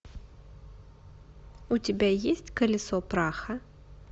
у тебя есть колесо праха